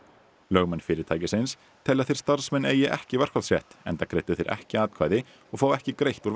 lögmenn fyrirtækisins telja að þeir starfsmenn eigi ekki verkfallsrétt enda greiddu þeir ekki atkvæði og fá ekki greitt úr